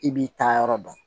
I b'i taa yɔrɔ dɔn